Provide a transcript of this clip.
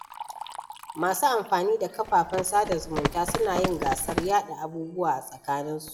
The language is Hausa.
Masu amfani da kafafen sada zumunta suna yin gasar yaɗa abubuwa a tsakaninsu.